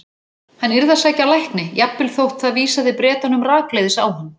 Hann yrði að sækja lækni, jafnvel þótt það vísaði Bretunum rakleiðis á hann.